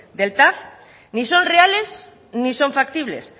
del tav ni son reales ni son factibles